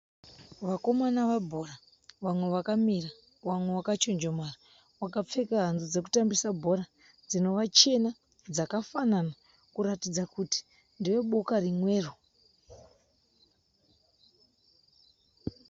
Vakomana vebhora , vamwe vakamira, vamwe vakachonjomara, vakapfe hanzi dzekutambisa bhora dzichena dzakafanana kuratidza kuti ndeveboka rimwe.